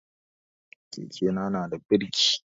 Keke na nada birki